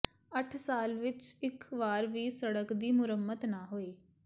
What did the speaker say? ਅੱਠ ਸਾਲ ਵਿਚ ਇਕ ਵਾਰ ਵੀ ਸੜਕ ਦੀ ਮੁਰੰਮਤ ਨਾ ਹੋਈ